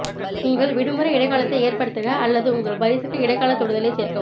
உங்கள் விடுமுறை இடைக்காலத்தை ஏற்படுத்துக அல்லது உங்கள் பரிசுக்கு இடைக்காலத் தொடுதலைச் சேர்க்கவும்